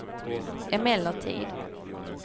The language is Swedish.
emellertid